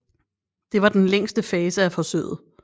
Det var den længste fase af forsøget